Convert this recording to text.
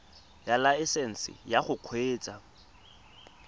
ya laesesnse ya go kgweetsa